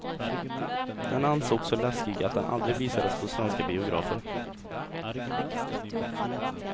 Den ansågs så läskig att den aldrig visades på svenska biografer.